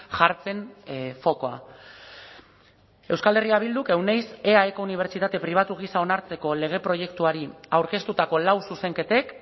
jartzen fokua euskal herria bilduk euneiz eaeko unibertsitate pribatu gisa onartzeko lege proiektuari aurkeztutako lau zuzenketek